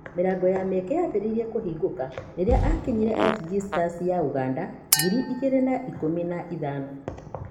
Mĩrango ya mĩeke yambĩrĩirie kũhingũka rĩrĩa aakinyire FG Stars ya Ũganda ngirĩ igĩri wa ikũmi na ithano.